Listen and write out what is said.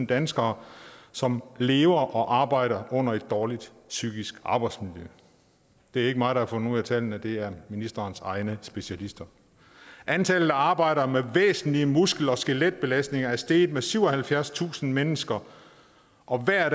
danskere som lever og arbejder under et dårligt psykisk arbejdsmiljø det er ikke mig der har fundet ud af tallene det er ministerens egne specialister antallet af arbejdere væsentlige muskel og skeletbelastninger er steget med syvoghalvfjerdstusind mennesker og der er